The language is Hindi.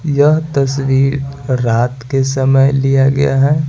यह तस्वीर रात के समय लिया गया है।